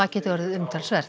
geti orðið umtalsverð